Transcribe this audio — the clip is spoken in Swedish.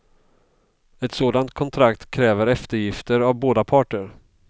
Ett sådant kontrakt kräver eftergifter av båda parter.